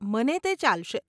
મને તે ચાલશે.